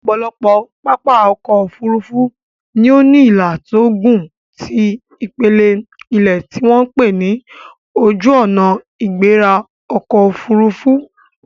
Ọ̀pọ̀lọpọ̀ pápá ọkọ̀ Òfurufú ni ó ní ìlà tó gùn ti ipele ilẹ̀ tí wọ́n pè ní Ojuona-igbera-okoofurufu